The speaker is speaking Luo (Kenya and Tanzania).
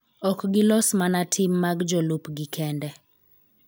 Ok gilos mana tim mag jolupgi kende .